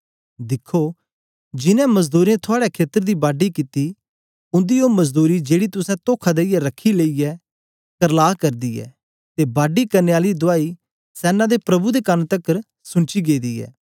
दिखो जिनैं मजदूरें थुआड़े खेतर दी बाडी कित्ती उन्दी ओ मजदूरी जेड़ी तुसें तोखा देईयै रखी लेई ऐ करला करदी ऐ ते बाडी करने आलें दी दुआई सैना दे प्रभु दे कन तकर सुनची गेदी ऐ